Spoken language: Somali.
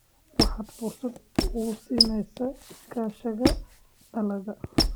Waxaad fursad u siinaysaa iskaashiga dalalka.